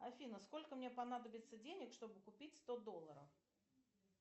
афина сколько мне понадобится денег чтобы купить сто долларов